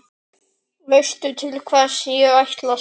Veistu til hvers ég ætlast?